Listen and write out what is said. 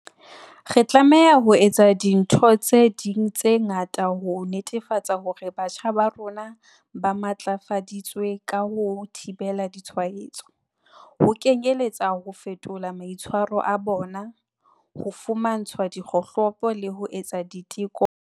Re tlameha ho etsa dintho tse ding tse ngata ho netefatsa hore batjha ba rona ba matlafaditswe ka ho thibela ditshwaetso, ho kenyeletsa ho fetola maitshwaro a bona, ho fumantshwa dikgohlopo le ho etsa diteko kgafetsa.